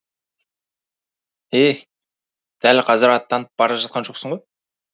е дәл қазір аттанып бара жатқан жоқсың ғой